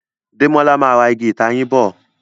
Demola má rà Ìgi ìtayín bọ.